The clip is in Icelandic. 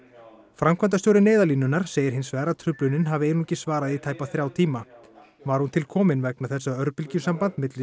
framkvæmdastjóri Neyðarlínunnar segir hins vegar að truflunin hafi einungis varað í tæpa þrjá tíma var hún til komin vegna þess að örbylgjusamband milli